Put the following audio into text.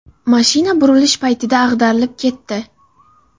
Mashina burilish paytida ag‘darilib ketdi.